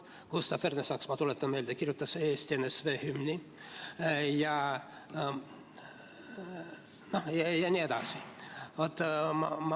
Gustav Ernesaks, ma tuletan meelde, kirjutas Eesti NSV hümni jne.